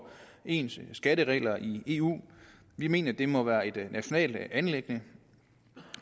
ens skatteregler i eu vi mener det må være et nationalt anliggende